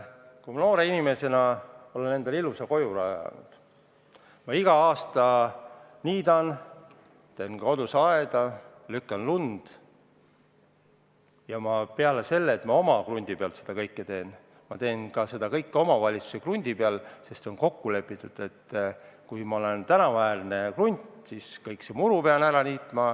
Ma olen noore inimesena endale ilusa kodu rajanud, ma iga aasta niidan muru, teen kodus aeda, lükkan lund ja peale selle, et ma oma krundi peal seda kõike teen, ma teen seda kõike ka omavalitsuse krundi peal – see on kokku lepitud, et kui mul on tänavaäärne krunt, siis ma niidan ka seal muru ära.